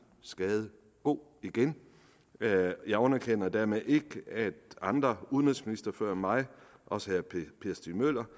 skade god igen jeg underkender dermed ikke at andre udenrigsministre før mig også herre per stig møller